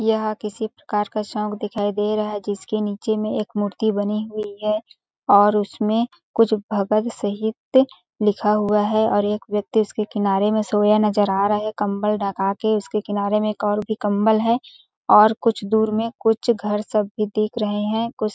यह किसी प्रकार का शौक दिखाई दे रहा है जिसके नीचे में एक मूर्ति बनी हुई है और उसमें कुछ भगत सहित शहीद लिखा हुआ है और एक व्यक्ति उसके किनारे में सोया नज़र आ रहा है कंबल ढका के उसके किनारे में एक और भी कंबल है और कुछ दूर में कुछ घर सब भी दिख रहे है कुछ --